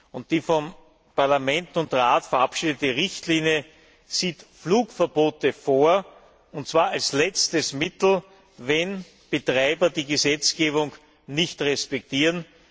Und die vom Parlament und vom Rat verabschiedete Richtlinie sieht Flugverbote vor, und zwar als letztes Mittel, wenn Betreiber die Gesetzgebung nicht respektieren.